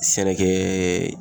Sɛnɛkɛɛ